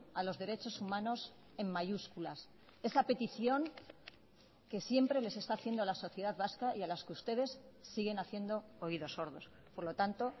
a los derechos humanos en mayúsculas esa petición que siempre les está haciendo la sociedad vasca y a las que ustedes siguen haciendo oídos sordos por lo tanto